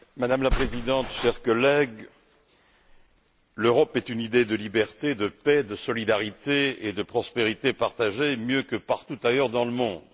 Madame la Présidente, chers collègues, l'Europe est une idée de liberté, de paix, de solidarité et de prospérité partagée mieux que partout ailleurs dans le monde.